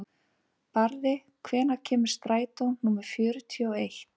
Barði, hvenær kemur strætó númer fjörutíu og eitt?